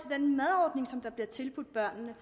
og der bliver tilbudt børnene